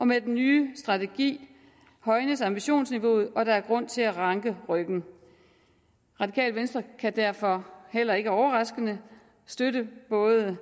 med den nye strategi højnes ambitionsniveauet og der er grund til at ranke ryggen radikale venstre kan derfor heller ikke overraskende støtte både